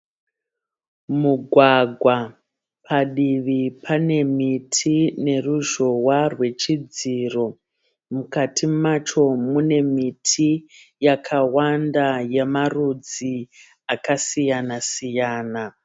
Mugwagwa. Padivi pane miti neruzhowa rwechidziro. Mukati macho mune miti yakawanda yamarudzi akasiyana siyana.